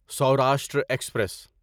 Saurashtra express